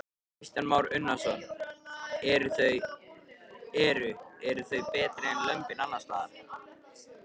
Kristján Már Unnarsson: Eru, eru þau betri en lömbin annarsstaðar?